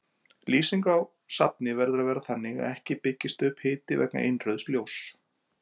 Lýsing á safni verður að vera þannig að ekki byggist upp hiti vegna innrauðs ljóss.